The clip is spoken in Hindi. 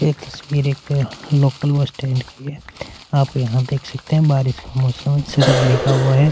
एक तस्वीर है एक लोकल बस स्टैंड की है आप यहाँ देख सकते हैं बारिश का मौसम हैं सड़क भीगा हुआ हैं।